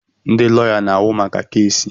Ndị lọya na-ahụ maka keesi.